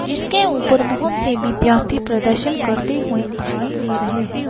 जिसके ऊपर बहुत से विद्यार्थी प्रदर्शन करते हुए दिखाई दे रहे हैं।